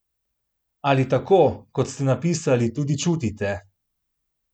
Ali tako, kot ste napisali, tudi čutite?